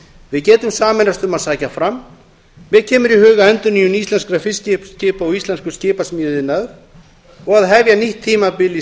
við getum sameinast um að sækja fram mér kemur í hug endurnýjun íslenskra fiskiskipa og íslenskur skipasmíðaiðnaðar og að hefja nýtt tímabil í